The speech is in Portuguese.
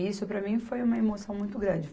Isso, para mim, foi uma emoção muito grande.